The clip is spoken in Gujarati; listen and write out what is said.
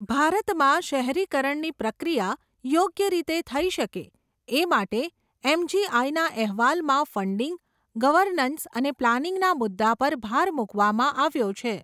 ભારતમાં શહેરીકરણની પ્રક્રિયા, યોગ્ય રીતે થઈ શકે, એ માટે એમજીઆઇના અહેવાલમાં ફન્ડિંગ, ગવર્નન્સ અને પ્લાનિંગના મુદ્દા પર ભાર મુકવામાં આવ્યો છે.